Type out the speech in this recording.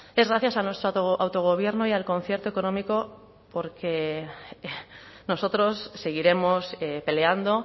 es gracias a nuestro autogobierno y al concierto económico porque nosotros seguiremos peleando